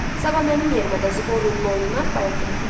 Sabah mənim yerimə də Zbornunun oyununa bilet elə dedi.